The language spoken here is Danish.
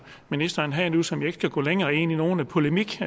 ministeren havde nu som jeg ikke skal gå længere ind i nogen polemik